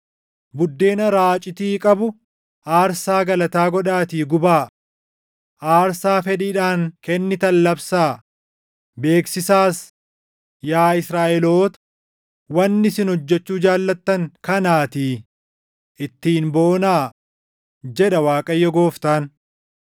Buddeena raacitii qabu aarsaa galataa godhaatii gubaa; aarsaa fedhiidhaan kennitan labsaa; beeksisaas; yaa Israaʼeloota, wanni isin hojjechuu jaallattan kanaatii, ittiin boonaa” jedha Waaqayyo Gooftaan.